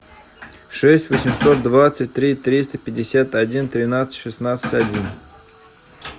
шесть восемьсот двадцать три триста пятьдесят один тринадцать шестнадцать один